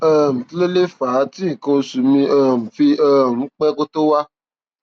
um kí ló lè fà á tí nǹkan oṣù mi um fi um ń pẹ kó tó wá